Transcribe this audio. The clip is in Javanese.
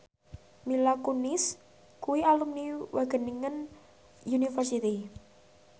Mila Kunis kuwi alumni Wageningen University